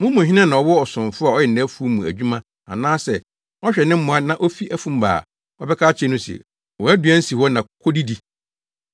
“Mo mu hena na ɔwɔ ɔsomfo a ɔyɛ nʼafuw mu adwuma anaasɛ ɔhwɛ ne mmoa na ofi afum ba a, ɔbɛka akyerɛ no se, ‘Wʼaduan si hɔ na kodidi?’